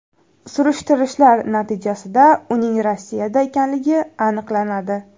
Surishtirishlar natijasida uning Rossiyada ekanligi aniqlanadi.